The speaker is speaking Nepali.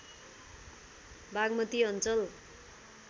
बाग्मती अञ्चल